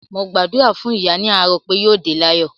Mo gbàdúrà fún ìyá ní àárò pé yóò dé láyọ̀